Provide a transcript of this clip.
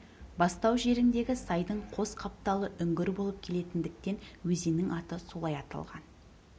бастау жеріндегі сайдың қос қапталы үңгір болып келетіндіктен өзеннің аты солай аталған